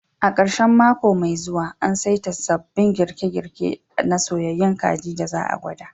A ƙarshen mako mai zuwa, an saita sabbin girke-girke na soyyayun kajin da za a gwada